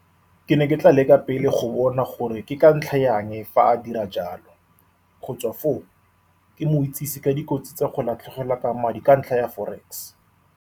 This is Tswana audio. Ke ne ke tla leka pele go bona gore ke ka ntlha ya eng fa a dira jalo. Go tswa foo, ke mo itsisi ka dikotsi tsa go latlhegelwa ke madi ka ntlha ya forex.